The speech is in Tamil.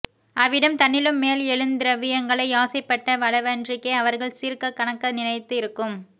அவ்விடம் தன்னிலும் மேல் எழுந் த்ரவ்யங்களை யாசைப்பட்ட வளவன்றிக்கே அவர்கள் சீர்க்கக் கனக்க நினைத்து இருக்கும்